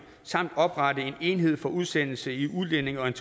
samt oprette en enhed for udsendelse i udlændinge og